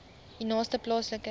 u naaste plaaslike